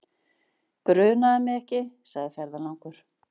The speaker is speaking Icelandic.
Grunaði mig ekki, segir ferðalangur.